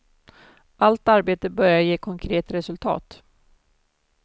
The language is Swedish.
Allt arbete börjar ge konkret resultat.